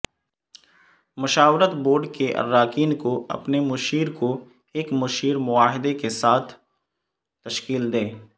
مشاورت بورڈ کے اراکین کو اپنے مشیر کو ایک مشیر معاہدے کے ساتھ تشکیل دیں